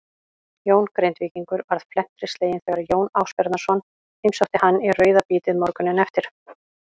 Jón Grindvíkingur varð felmtri sleginn þegar Jón Ásbjarnarson heimsótti hann í rauðabítið morguninn eftir.